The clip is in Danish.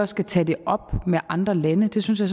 skal tage det op med andre lande det synes jeg